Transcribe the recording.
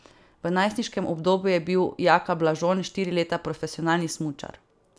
V najstniškem obdobju je bil Jaka Blažon štiri leta profesionalni smučar.